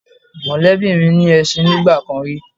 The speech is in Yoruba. Mọ̀lẹ́bí mi ní ẹṣin nígbà kan rí